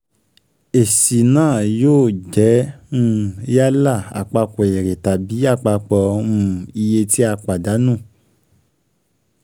Èsì um náà yóò um jẹ́ yálà àpapọ̀ èrè tàbí àpapọ̀ um iye tí a pàdánù.